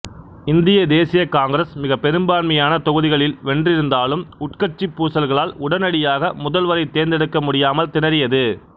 இந்திய தேசிய காங்கிரசு மிகப்பெரும்பான்மையான தொகுதிகளில் வென்றிருந்தாலும் உட்கட்சி பூசல்களால் உடனடியாக முதல்வரை தேர்ந்தெடுக்க முடியாமல் திணறியது